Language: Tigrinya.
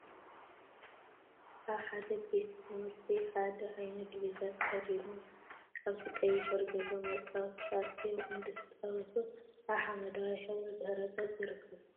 ኣብ ሓደ ቤት ትምህርቲ ሓደ ዓይነት ድቪዛ ተከዲኖም፥ ኣብቲ ቀይሕ ሕብሪ ዘለዎ መጻወቲ ተኣኪቦም እንድስተጻወቱ ኣብ ሓመደዋይ ሕብሪ ድሕረ ገፅ ይርከቡ።